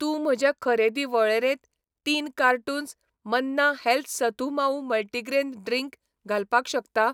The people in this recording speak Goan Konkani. तूं म्हजे खरेदी वळेरेंत तीन cartons Manna health sathu maavu multigrain drink घालपाक शकता?